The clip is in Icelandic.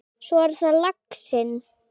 Svo er það laxinn.